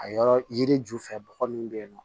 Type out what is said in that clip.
A yɔrɔ yiri ju fɛ bɔgɔ min bɛ yen nɔ